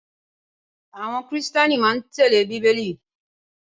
Àwọn Kìrìtẹ́ẹ́nì máa ń tẹ́lẹ̀ Bíbélì.